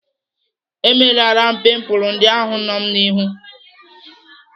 Emelara m pimpul ndị ahụ nọ m n'ihu.